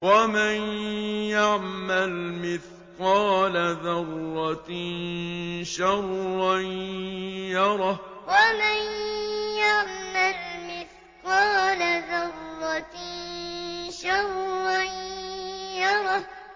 وَمَن يَعْمَلْ مِثْقَالَ ذَرَّةٍ شَرًّا يَرَهُ وَمَن يَعْمَلْ مِثْقَالَ ذَرَّةٍ شَرًّا يَرَهُ